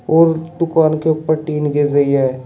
और दुकान के ऊपर टिन गिर रही है।